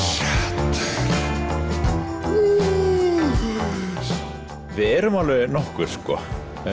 við erum alveg nokkur sko